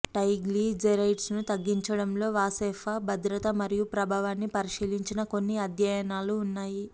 ట్రైగ్లిజెరైడ్స్ను తగ్గించడంలో వాస్సెపా భద్రత మరియు ప్రభావాన్ని పరిశీలించిన కొన్ని అధ్యయనాలు ఉన్నాయి